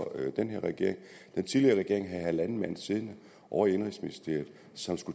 den her regering den tidligere regering havde halvanden mand siddende ovre i indenrigsministeriet